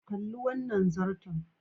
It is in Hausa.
Kalli wannan zarton.